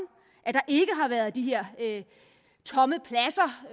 at der ikke har været de her tomme pladser